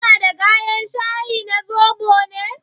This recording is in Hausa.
Kana da gayen shayi na zobo ne?